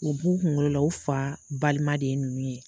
U b'u kunkolo la u fa balima de ye ninnu ye.